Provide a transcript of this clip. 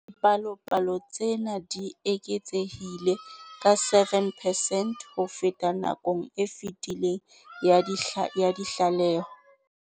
Dipalopalo tsena di eketsehile ka 7 percent ho feta nakong e fetileng ya ditlaleho.